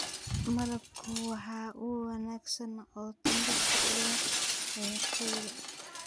Malabku waa il wanaagsan oo tamar u leh ciyaartoyda.